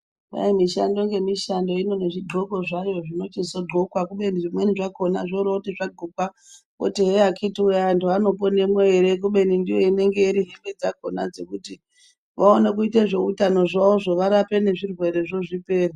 Kwai mishando nemishando ine zvidhloko zvayo zvinochizodhloka kubeni zvimweni zvakona zvooroti zvadhlokwa woti here akiti woye anhu anoponemwo ere kubeni ndiyo inenge iri hembe dzakona dzekuti vaone kuite zveutano zvawozvo varape nezvirwerezvo zvipere.